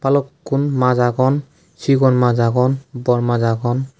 balukun mas agon segon mas agon dol mas agon.